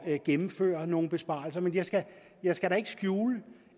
at gennemføre nogle besparelser men jeg skal jeg skal da ikke skjule